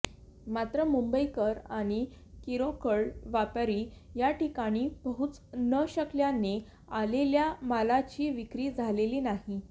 मात्र मुंबईकर आणि किरकोळ व्यापारी याठिकाणी पोहचू न शकल्याने आलेल्या मालाची विक्री झालेली नाही